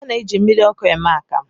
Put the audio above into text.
A na-eji mmiriọkụ eme akamụ